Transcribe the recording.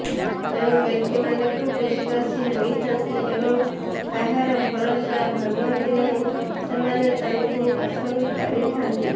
ଯେଉଁ ବ୍ୟକ୍ତିମାନେ ଖୁବ୍ ବିଶ୍ବାସୀ ହୋଇଥାନ୍ତି ଏବଂ କାହାର ଭରସା ଭାଙ୍ଗନ୍ତି ନାହିଁ ସେମାନେ ତାଙ୍କୁ ପସନ୍ଦ କରିଥାନ୍ତି